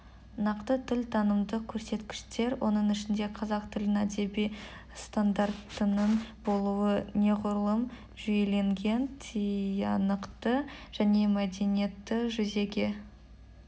нақты тіл танымдық көрсеткіштер оның ішінде қазақ тілінің әдеби стандартының болуы неғұрлым жүйеленген тиянақты және міндетті жүзеге